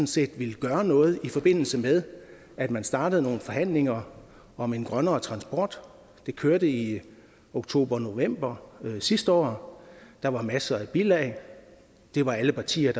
set ville gøre noget i forbindelse med at man startede nogle forhandlinger om en grønnere transport det kørte i oktober november sidste år der var masser af bilag det var alle partier